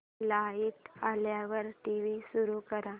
light आल्यावर TV सुरू कर